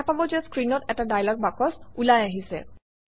দেখা পাব যে স্ক্ৰীনত এটা ডায়লগ বাকচ ওলাই আহিছে